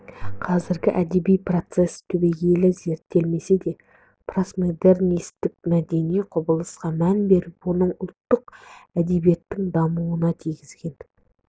қазіргі әдеби процесс түбегейлі зерттелмесе де посмодернистік мәдени құбылысқа мән беріп оның ұлттық әдебиеттің дамуына тигізген